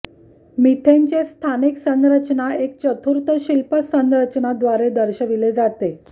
मिथेनचे स्थानिक संरचना एक चतुर्थशिल्प संरचना द्वारे दर्शविले जाते